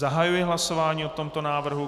Zahajuji hlasování o tomto návrhu.